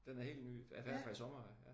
Den er helt ny. I hvert fald fra i sommer af